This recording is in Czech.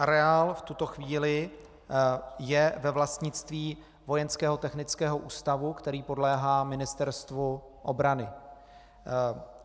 Areál v tuto chvíli je ve vlastnictví Vojenského technického ústavu, který podléhá Ministerstvu obrany.